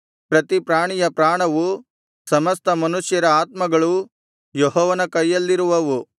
ಪ್ರತಿ ಪ್ರಾಣಿಯ ಪ್ರಾಣವು ಸಮಸ್ತ ಮನುಷ್ಯರ ಆತ್ಮಗಳೂ ಯೆಹೋವನ ಕೈಯಲ್ಲಿರುವವು